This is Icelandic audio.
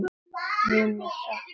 Mun sakna hennar mikið.